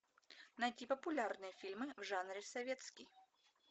найти популярные фильмы в жанре советский